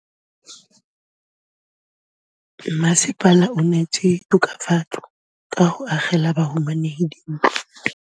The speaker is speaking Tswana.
Mmasepala o neetse tokafatsô ka go agela bahumanegi dintlo.